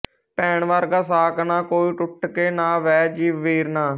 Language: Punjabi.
ਭੈਣ ਵਰਗਾ ਸਾਕ ਨਾ ਕੋਈ ਟੁੱਟ ਕੇ ਨਾ ਬਹਿ ਜੀ ਵੀਰਨਾ